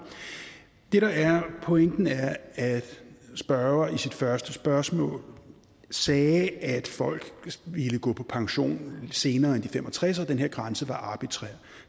det der er pointen er at spørgeren i sit første spørgsmål sagde at folk ville gå på pension senere end de fem og tres at den her grænse var arbitrær